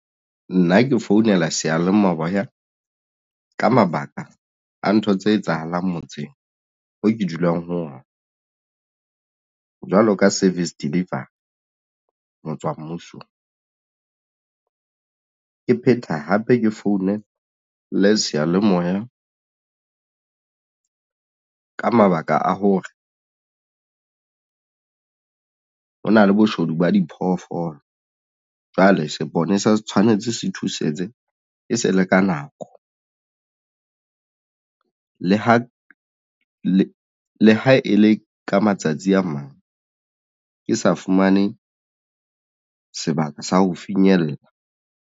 Nna ke founela seyalemoya ka mabaka a ntho tse etsahalang motseng oo ke dulang ho ona jwalo ka service deliver ho tswa mmusong ke phetha hape ke founele seyalemoya ka mabaka a hore hona le boshodu ba diphoofolo jwale seponesa se tshwanetse se thusetse e se le ka nako le ha e le ka matsatsi a mang ke sa fumane sebaka sa ho finyella.